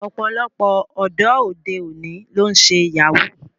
Ọ̀pọ̀lọpọ̀ ọ̀dọ́ òde òní ló ń ṣe Yahoo